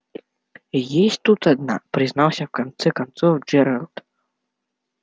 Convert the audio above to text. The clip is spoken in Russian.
есть тут одна признался в конце концов джералд